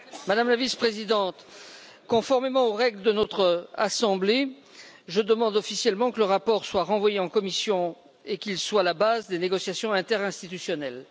Madame la Vice présidente, conformément aux règles de notre assemblée, je demande officiellement que le rapport soit renvoyé en commission et qu'il soit à la base des négociations interinstitutionnelles.